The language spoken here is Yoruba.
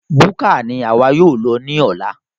Búkà ní àwa yóò lọ ní ọ̀la